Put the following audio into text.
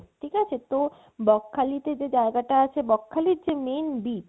ঠিকাছে তো বকখালিতে যে জায়গা টা আছে বকখালির যেই main beach